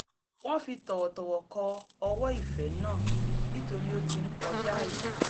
wọ́n fi tọ̀wọ̀tọ̀wọ̀ kọ ọwọ́ ìfẹ́ náà nítorí ó ti ń kọjaàyè